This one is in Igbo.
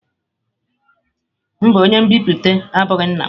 Mba, onye nbipute abụghị nna m.